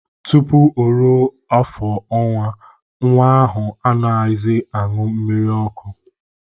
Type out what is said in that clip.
Tupu o ruo ofu ọnwa, nwa ahụ anaghịzị aṅụ mmiri ọkụ.